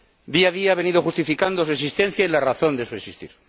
Día a día ha venido justificando su existencia y la razón de su existir.